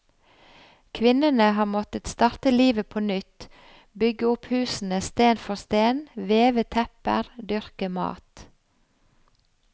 Kvinnene har måttet starte livet på nytt, bygge opp husene sten for sten, veve tepper, dyrke mat.